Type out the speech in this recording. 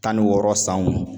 Tan ni wɔɔrɔ sanw.